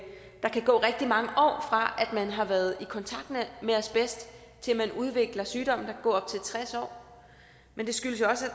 der kan gå rigtig mange år fra man har været i kontakt med asbest til man udvikler sygdommen der gå op til tres år men det skyldes jo også at